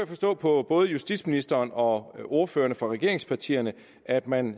forstå på både justitsministeren og ordførererne for regeringspartierne at man